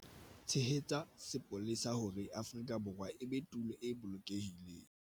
Tshehetsa sepolesa hore Afrika Borwa e be tulo e bolokehileng